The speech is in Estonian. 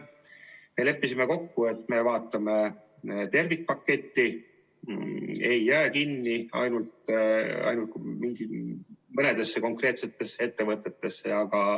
Me leppisime kokku, et me vaatame tervikpaketti, ei jää kinni ainult mõnedesse konkreetsetesse ettevõtetesse.